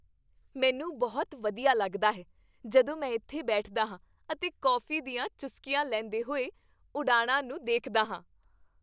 ਮੈਨੂੰ ਬਹੁਤ ਵਧੀਆ ਲੱਗਦਾ ਹੈ ਜਦੋਂ ਮੈਂ ਇੱਥੇ ਬੈਠਦਾ ਹਾਂ ਅਤੇ ਕੌਫੀ ਦੀਆਂ ਚੁਸਕੀਆਂ ਲੈਂਦੇ ਹੋਏ ਉਡਾਣਾਂ ਨੂੰ ਦੇਖਦਾ ਹਾਂ।